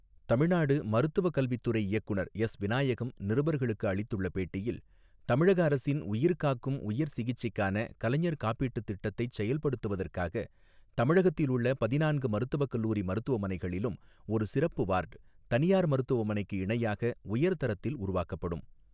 தமிழ்நாடு மருத்துவக் கல்வித் துறை இயக்குநர் எஸ் விநாயகம் நிருபர்களுக்கு அளித்துள்ள பேட்டியில் தமிழக அரசின் உயிர்காக்கும் உயர் சிகிச்சைக்கான கலைஞர் காப்பீட்டுத் திட்டத்தைச் செயல்படுத்துவதற்காக தமிழகத்தில் உள்ள பதினான்கு மருத்துவக் கல்லூரி மருத்துவமனைகளிலும் ஒரு சிறப்பு வார்ட் தனியார் மருத்துவமனைக்கு இணையாக உயர் தரத்தில் உருவாக்கப்படும்.